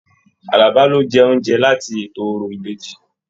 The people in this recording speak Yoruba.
Àlàbá ló jẹ oúnjẹ láti ètò òrò ìbejì.